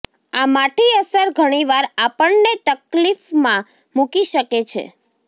આ માઠી અસર ઘણીવાર આપણને તકલીફમાં મૂકી શકે છે